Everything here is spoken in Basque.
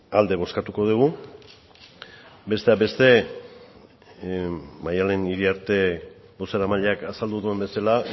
alde bozkatuko dugu besteak beste maddalen iriarte bozeramaileak azaldu duen bezala